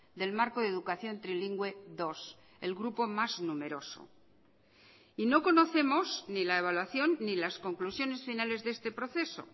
del marco de educación trilingüe dos el grupo más numeroso y no conocemos ni la evaluación ni las conclusiones finales de este proceso